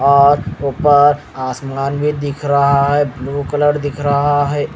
और ऊपर आसमान भी दिख रहा है ब्लू कलर दिख रहा है।